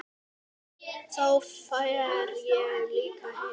Þá fer ég líka heim